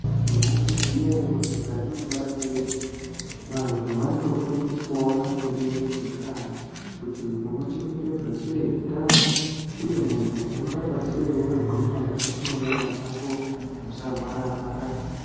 Maizviziya ere kuti mukati mundaramo yedu vantu vanotofundiswawo maringe nezveutano kuti unochengetedza sei utano uye muntu unoramba sei wakagwinya mukati menyama dzako usarwararwara.